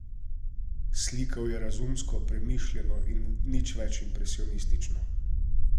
Slikal je razumsko, premišljeno in nič več impresionistično.